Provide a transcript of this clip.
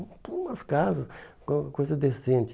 Umas casas, co coisa decente.